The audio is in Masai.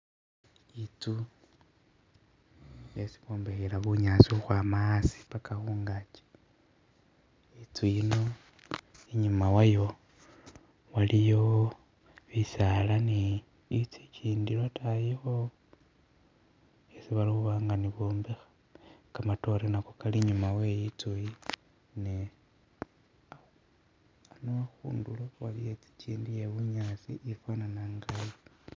Intsu yesi bombekhela bunyaasi ukhwama haasi pakha khungaki intsu yino inyuma waliyo bisaala ni intsu igindi lotayikho isi balikhuba nga ni bombekha kamatore nako kali inyuma we intsu iyi ni khano khundulo waliwo intsu igindi iye bunyaasi ifanana inga yi.